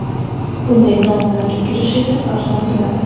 Bunday saunalarga kirish esa arzon turadi.